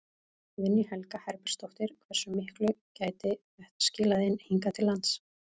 Guðný Helga Herbertsdóttir: Hversu miklu gæti þetta skilað inn hingað til lands?